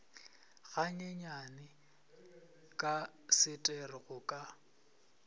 ganyenyane ka setero go ka